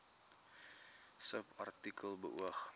subartikel beoog